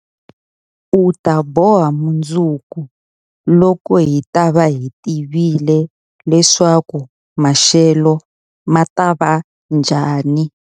Hi ta boha mundzuku, loko hi ta va hi tivile leswaku maxelo ma ta va njhani?